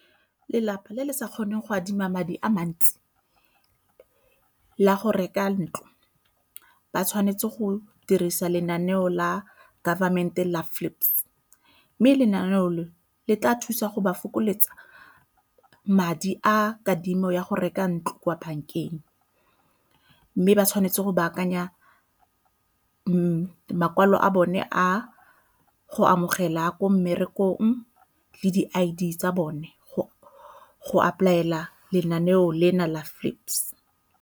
Lelapa le le sa kgoneng go adima madi a mantsi la go reka ntlo ba tshwanetse go dirisa lenaneo la government-e la FLIPS mme lenaneo le tla thusa go ba fokoletsa madi a kadimo ya go reka ntlo kwa bankeng. Mme ba tshwanetse go baakanya makwalo a bone a go amogela ko mmerekong le di I_D tsa bone apply-ela lenaneo lena la FLIPS.